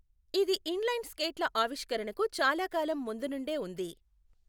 ఇది inline స్కేట్ల ఆవిష్కరణకు చాలా కాలం ముందు నుండే ఉంది.